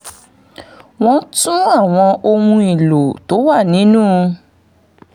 wọ́n tún àwọn ohun èlò tó wà nínú